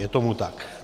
Je tomu tak.